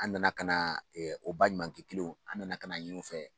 An nana ka na o baɲumankɛ kelenw an nana ka na ɲin'u fɛ.